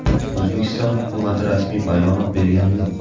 O‘zbekiston hukumati rasmiy bayonot bergani yo‘q.